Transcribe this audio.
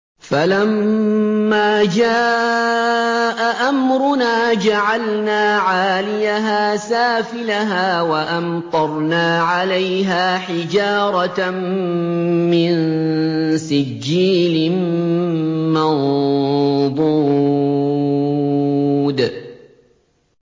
فَلَمَّا جَاءَ أَمْرُنَا جَعَلْنَا عَالِيَهَا سَافِلَهَا وَأَمْطَرْنَا عَلَيْهَا حِجَارَةً مِّن سِجِّيلٍ مَّنضُودٍ